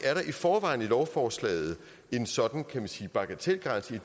i forvejen i lovforslaget en sådan bagatelgrænse